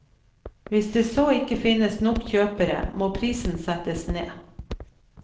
Hvis det så ikke finnes nok kjøpere, må prisen settes ned.